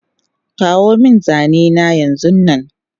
Kawomin zanena yanzunnan